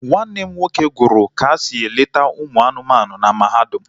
Nwanne m nwoke gụrụ ka esi eleta ụmụ anụmanụ na mahadum